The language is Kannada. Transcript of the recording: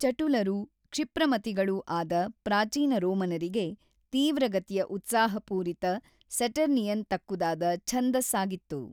ಚಟುಲರೂ ಕ್ಷಿಪ್ರಮತಿಗಳೂ ಆದ ಪ್ರಾಚೀನ ರೋಮನರಿಗೆ ತೀವ್ರಗತಿಯ ಉತ್ಸಾಹಪೂರಿತ ಸ್ಯಟರ್ನಿಯನ್ ತಕ್ಕುದಾದ ಛಂದಸ್ಸಾಗಿತ್ತು.